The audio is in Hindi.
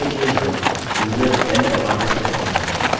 इसके लिए हम userdel command इस्तेमाल करेंगे